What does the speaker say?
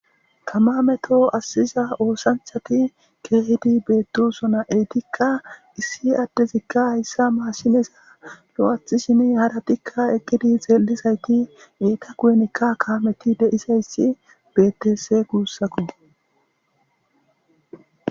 Kamameto assiza oosanchati keehidi beettosona7eytikka issi addezikka hayssa maashineza lo7ath shimi hadatikka eqgidi xeelizayti eeta kuyenikka kaameti deisayssi betes guussako.